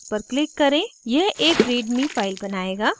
यह एक readme file बनाएगा